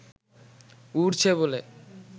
উড়ছে বলে